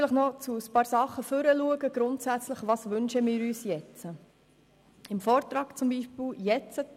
Nun noch einige grundsätzliche Dinge zum Vorausschauen: